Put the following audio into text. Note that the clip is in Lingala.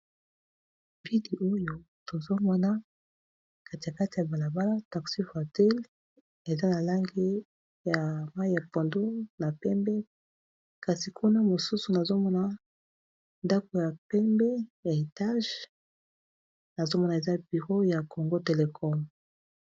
Vidi oyo tozomona kati ya kati ya balabala taxivhatil eza na langi ya mai ya pando na pembe kasi kuna mosusu nazomona ndako ya pembe, ya etage azomona eza biro ya congo telecole.